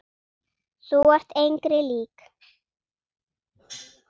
Þú ert engri lík.